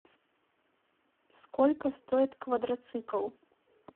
сколько стоит квадроцикл